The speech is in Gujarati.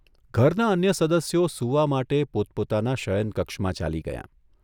ઘરનાં અન્ય સદસ્યો સૂવા માટે પોતપોતાનાં શયનકક્ષમાં ચાલી ગયાં.